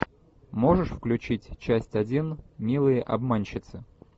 можешь включить часть один милые обманщицы